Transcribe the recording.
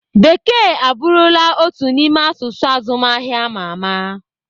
Bekee abụrụla otu n'ime asụsụ azụmahịa ama ama.